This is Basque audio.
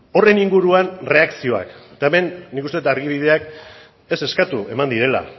horren inguruan erreakzioak eta hemen nik uste dut argibideak ez eskatu eman direla